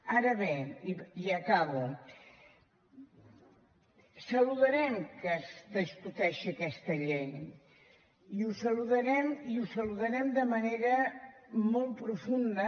ara bé i acabo saludarem que es discuteixi aquesta llei i ho saludarem de manera molt profunda